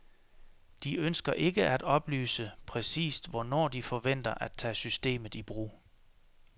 De ønsker ikke at oplyse, præcist hvornår de forventer at tage systemet i brug.